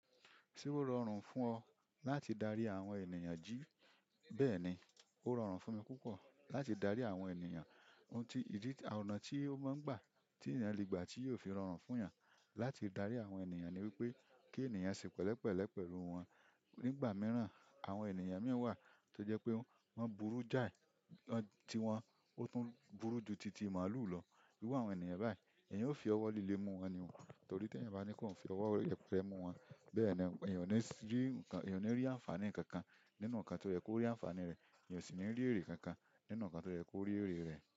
Tí ó rọrùn fún ọ láti darí àwọn ènìyàn jí, bẹ́ẹ̀ni, ó rọrùn fún mi púpọ̀ láti darí àwọn ènìyàn. Ohun tí, ìdí ọ̀nà tí ó máa ń gbà, tí èèyàn le gbà tí yóò fi rọrùn fún ìyẹn láti darí àwọn ènìyàn ni wípé kí èèyàn ṣe pẹ̀lẹ́pẹ̀lẹ́ pẹ̀lú wọn. Nígbà mìíràn, àwọn ènìyàn mìíràn wà tó jẹ́ pé wọ́n burú jáì, ti wọn, ó tún burú ju ti ti màlúù lọ. Iru àwọn ènìyàn báyìí, èèyàn ó fi ọwọ́ líle mu wọn ni o, torí tí ẹ̀yan bá ní kí ọ́un fi ọwọ́ yeperẹ̀ mú wọn, bẹ́ẹ̀ni èèyàn ò ní rí, èèyàn ò ní rí àǹfààní kankan nínú nǹkan tó ye kó rí àǹfààní rẹ̀, èèyàn ò sì ní rí èrè kankan nínú nǹkan tó yẹ kó rí èrè rẹ̀